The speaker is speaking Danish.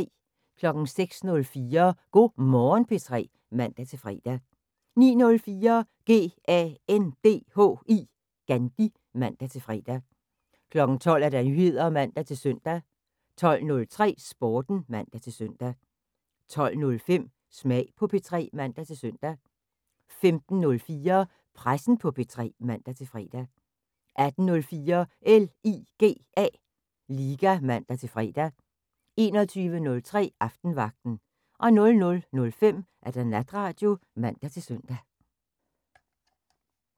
06:04: Go' Morgen P3 (man-fre) 09:04: GANDHI (man-fre) 12:00: Nyheder (man-søn) 12:03: Sporten (man-søn) 12:05: Smag på P3 (man-søn) 15:04: Pressen på P3 (man-fre) 18:04: LIGA (man-fre) 21:03: Aftenvagten 00:05: Natradio (man-søn)